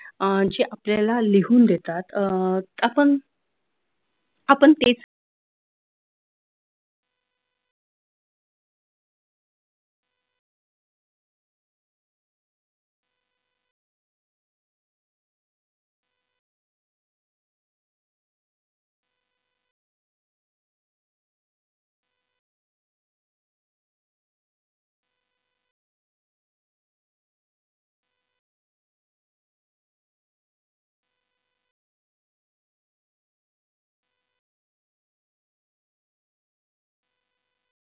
अह जे आपल्याला लिहून देतात अह आपण आपण ते